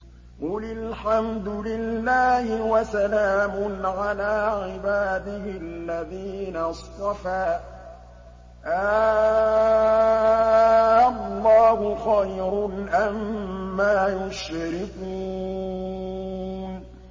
قُلِ الْحَمْدُ لِلَّهِ وَسَلَامٌ عَلَىٰ عِبَادِهِ الَّذِينَ اصْطَفَىٰ ۗ آللَّهُ خَيْرٌ أَمَّا يُشْرِكُونَ